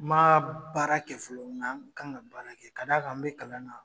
Maa baara kɛ fɔlɔ nga kan ka baara kɛ ka d'a kan n be kalan na